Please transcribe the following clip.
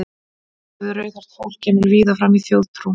Hræðsla við rauðhært fólk kemur víða fram í þjóðtrú.